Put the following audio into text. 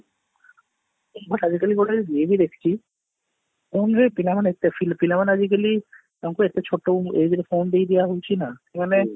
but ଆଜି କାଲି ଗୋଟେ ଇଏ ବି ଦେଖିଛି phone ରେ ପିଲା ମାନେ ଏତେ ପିଲା ମାନେ ଆଜିକାଲି ତାଙ୍କୁ ଏତେ ଛୋଟ age ରେ phone ଦେଇ ଦିଆ ହାଉଛି ନା ସେମାନେ